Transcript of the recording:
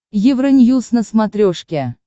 евроньюз на смотрешке